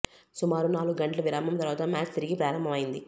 సుమారు నాలుగు గంటల విరామం తర్వాత మ్యాచ్ తిరిగి ప్రారంభం అయింది